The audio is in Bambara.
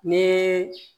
Ni